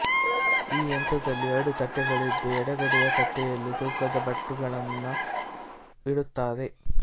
ಈ ಯಂತ್ರದಲ್ಲಿ ಎರಡು ತಟ್ಟೆಗಳಿದ್ದು ಎಡಗಡೆಯ ತಟ್ಟೆಯಲ್ಲಿ ತೂಕದ ಬಟ್ಟುಗಳನ್ನು ಇಡುತ್ತಾರೆ